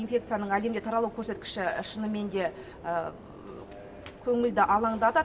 инфекцияның әлемде таралу көрсеткіші шыныменде көңілді алаңдатады